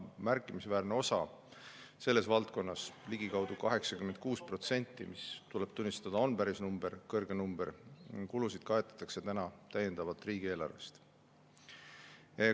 Märkimisväärne osa kulusid selles valdkonnas, ligikaudu 86% – tuleb tunnistada, et see on päris suur number – kaetakse praegu täiendavalt riigieelarvest.